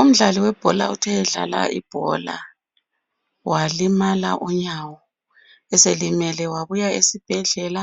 Umdlali webhola uthe edlala ibhola walimala unyawo. Eselimele wabuya esibhedlela